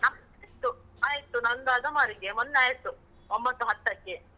ಆಯ್ತು. ಆಯ್ತು. ನನ್ದು ಅದಮಾರಿಗೆ ಮೊನ್ನೆ ಆಯ್ತು ಒಂಭತ್ತು ಹತ್ತಕ್ಕೆ.